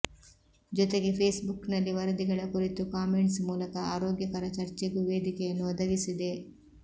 ಜೊತೆಗೆ ಫೇಸ್ಬುಕ್ನಲ್ಲಿ ವರದಿಗಳ ಕುರಿತು ಕಾಮೆಂಟ್ಸ್ ಮೂಲಕ ಆರೋಗ್ಯಕರ ಚರ್ಚೆಗೂ ವೇದಿಕೆಯನ್ನು ಒದಗಿಸಿದೆ